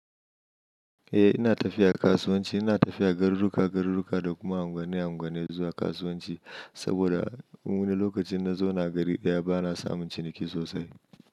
Eh ina tafiya kasuwanci, ina tafiya garuruka-garuruka da kuma unguwa-unguwa zuwa kasuwanci. Saboda a wuni lokacin na zauna gari daya bana samun ciniki sosai.